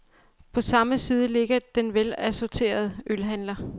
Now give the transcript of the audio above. På samme side ligger den velassorterede ølhandler.